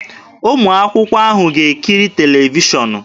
Ụmụ akwụkwọ ahụ ga-ekiri televishọnụ